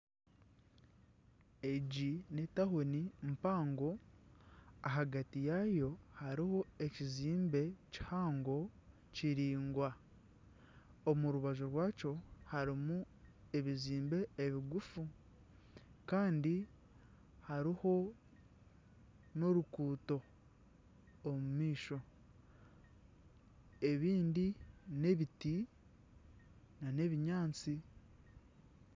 Egi n'etauni mpango. Ahagati yayo hariho ekizimbe kihango kiraingwa. Omu rubaju rwakyo harimu ebizimbe ebigufu kandi hariho n'oruguuto omu maisho. Ebindi n'ebiti nana ebinyaatsi.